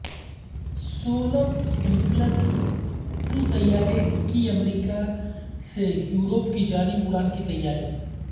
solar impulse ٹوطیارے کی America سے یورپ کی جانب اڑان کی تیاری